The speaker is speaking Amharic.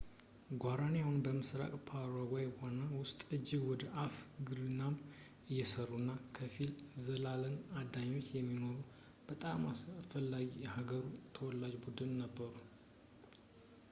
ጓራኒ አሁን ምስራቅ ፓራጓይ የሆነው ውስጥ ከእጅ ወደ አፍ ግብርናንም እየሰሩ እንደ ክፊል-ዘላን አዳኞች የሚኖሩ በጣም አስፈላጊ የሃገሩ ተወላጅ ቡድን ነበሩ